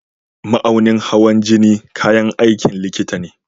Mahaunin hawan jini kayan aikin likita ne.